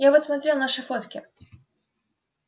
я вот смотрел наши фотки